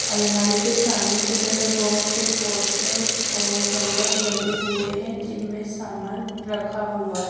अलमारी के सामने की तरफ बहोत से पोस्टर और हैंगर लगे हुए हैं जिनमें सामान रखा हुआ--